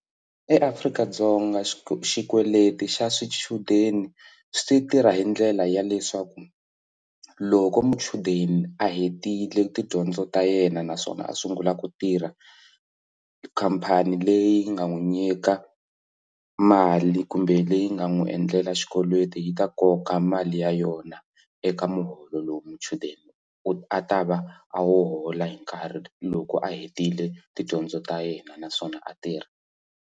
EAfrika-Dzonga xi xikweleti xa swichudeni swi tirha hi ndlela ya leswaku loko muchudeni a hetile tidyondzo ta yena naswona a sungula ku tirha khampani leyi nga n'wi nyika mali kumbe leyi nga n'wi endlela xikweleti yi ta koka mali ya yona eka muholo lowu muchudeni a ta va a wu hola hi nkarhi loko a hetile tidyondzo ta yena naswona a tirha.